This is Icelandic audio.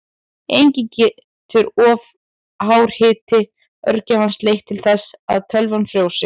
Einnig getur of hár hiti örgjörvans leitt til þess að tölvan frjósi.